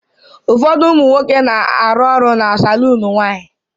ụfọdụ ụmụ nwoke na-arụ ọrụ na saloon nwanyị